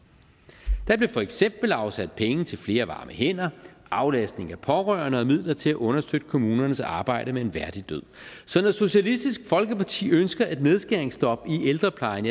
der blev for eksempel afsat penge til flere varme hænder aflastning af pårørende og midler til at understøtte kommunernes arbejde med en værdig død så når socialistisk folkeparti ønsker et nedskæringsstop i ældreplejen